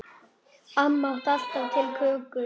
Amma átti alltaf til kökur.